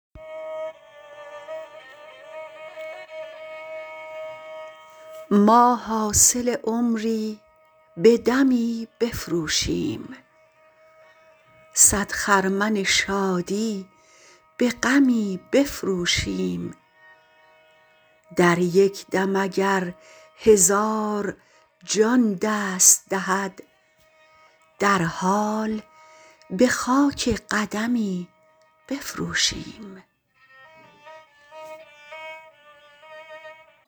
ما حاصل عمری به دمی بفروشیم صد خرمن شادی به غمی بفروشیم در یک دم اگر هزار جان دست دهد در حال به خاک قدمی بفروشیم